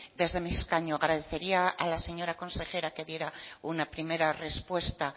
desde mi escaño agradecería a la señora consejera que diera una primera respuesta